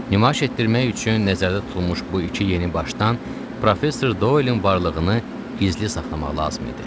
Nümayiş etdirmək üçün nəzərdə tutulmuş bu iki yeni başdan Professor Doylin varlığını gizli saxlamaq lazım idi.